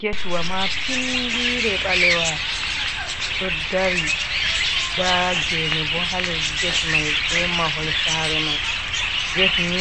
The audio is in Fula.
Getwa maapindiire ɓaleewa ɗo dari. Daa geene bo haa les get mai, bee mahol saree mai. Get ni